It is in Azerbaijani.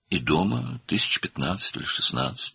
Və evdə 15 min və ya 16 min."